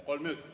Kolm minutit.